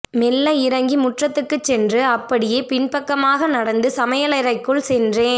மெல்ல இறங்கி முற்றத்துக்குச் சென்று அப்படியே பின்பக்கமாக நடந்து சமையலறைக்குள் சென்றேன்